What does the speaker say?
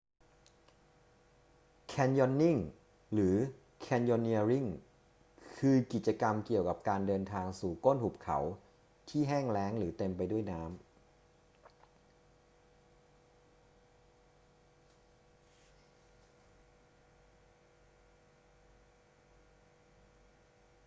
แคนยอนนิ่ง หรือ แคนยอนเนียริง คือ กิจกรรมเกี่ยวกับการเดินทางสู่ก้นหุบเขาที่แห้งแล้งหรือเต็มไปด้วยน้ำ